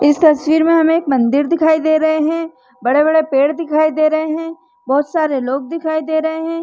इस तस्वीर में हमें एक मंदिर दिखाई दे रहे है बड़े बड़े पेड़ दिखाई दे रहे है बहुत सारे लोग दिखाई दे रहे है।